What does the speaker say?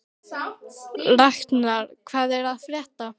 Raknar, hvað er að frétta?